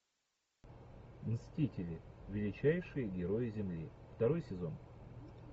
мстители величайшие герои земли второй сезон